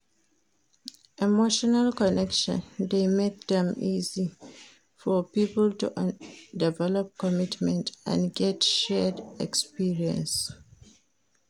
Emotional connection de make am easy for pipo to develop commitment and get shared experience